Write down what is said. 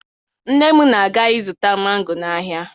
Nne m na-aga ịzụta mango n'ahịa